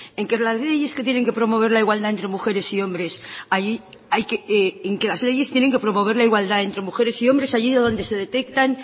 en que las leyes que tienen que promover la igualdad entre mujeres y hombres hay que en que las leyes tienen que promover la igualdad entre mujeres y hombres allí donde se detectan